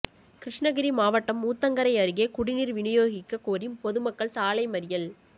கிருஷ்ணகிரி மாவட்டம் ஊத்தங்கரை அருகே குடிநீர் விநியோகிக்கக் கோரி பொதுமக்கள் சாலை மறியல்